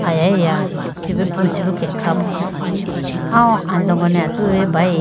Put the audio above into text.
Alayiya chibo pruchibo khe kha po aw andogo ne atudi bayi.